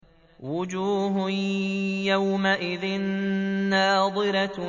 وُجُوهٌ يَوْمَئِذٍ نَّاضِرَةٌ